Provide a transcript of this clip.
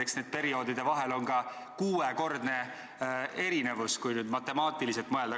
Eks nende perioodide vahel ole ka kuuekordne erinevus, kui matemaatiliselt mõelda.